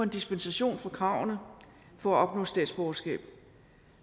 dispensation fra kravene for at opnå statsborgerskab